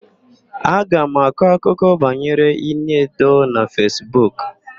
Aga m akọ akụkọ banyere Ini Edo na Fesbuk.